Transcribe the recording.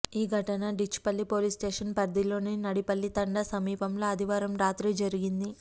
ఈ ఘటన డిచ్పల్లి పోలీస్స్టేషన్ పరిధిలోని నడిపల్లి తండా సమీపంలో ఆదివారం రాత్రి జరిగింది